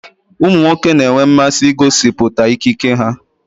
Ụmụ nwoke na-enwe mmasị igosịpụta ikike ha